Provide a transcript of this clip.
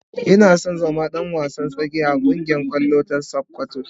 Ina son zama dan wasan tsakiya a kungiyar kwallon kafa ta sokoto.